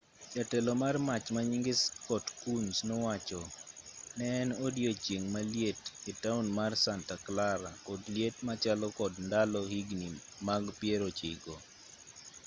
jatelo mar mach manyinge scott kouns nowacho ne en odiyochieng' maliet etaon mar santa clara kod liet machalo kod ndalo higni mag pierochiko